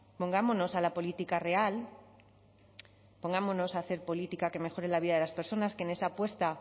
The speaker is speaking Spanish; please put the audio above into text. pongámonos a la política real pongámonos a hacer política que mejore la vida de las personas que en esa apuesta